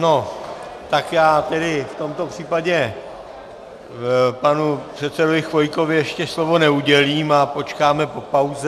No, tak já tedy v tomto případě panu předsedovi Chvojkovi ještě slovo neudělím a počkáme po pauze.